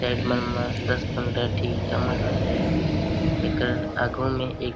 add मन म दस पंद्रह ठी ईटा मन हे एक आघु म एक --